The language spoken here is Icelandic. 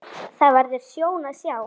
Það verður sjón að sjá.